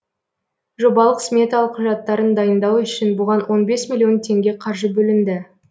жобалық сметалық құжаттарын дайындау үшін бұған он бес миллион теңге қаржы бөлінді